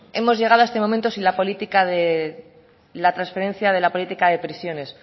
hemos llegado a este momento sin la transferencia de la política de prisiones